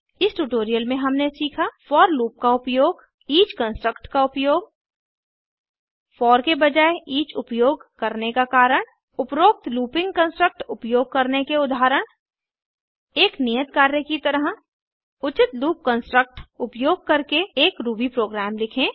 इस ट्यूटोरियल में हमने सीखा फोर लूप का उपयोग ईच कन्स्ट्रक्ट का उपयोग फोर के बजाये ईच उपयोग करने का कारण उपरोक्त लूपिंग कन्स्ट्रक्ट उपयोग करने के उदाहरण एक नियत कार्य की तरह उचित लूप कन्स्ट्रक्ट उपयोग करके एक रूबी प्रोग्राम लिखें